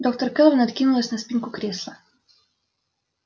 доктор кэлвин откинулась на спинку кресла